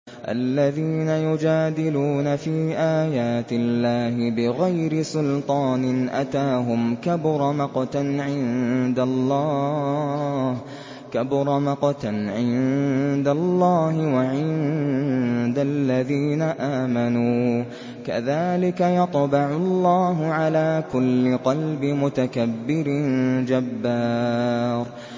الَّذِينَ يُجَادِلُونَ فِي آيَاتِ اللَّهِ بِغَيْرِ سُلْطَانٍ أَتَاهُمْ ۖ كَبُرَ مَقْتًا عِندَ اللَّهِ وَعِندَ الَّذِينَ آمَنُوا ۚ كَذَٰلِكَ يَطْبَعُ اللَّهُ عَلَىٰ كُلِّ قَلْبِ مُتَكَبِّرٍ جَبَّارٍ